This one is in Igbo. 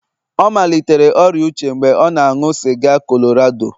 ọ malitere ọrịa uche mgbe ọ na-aṅụ sịga Colorado